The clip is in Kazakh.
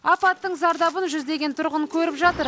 апаттың зардабын жүздеген тұрғын көріп жатыр